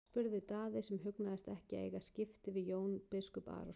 spurði Daði sem hugnaðist ekki að eiga skipti við Jón biskup Arason.